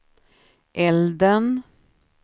elden